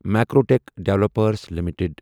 Macrotech developers limited